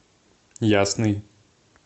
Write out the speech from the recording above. ясный